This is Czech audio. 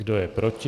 Kdo je proti?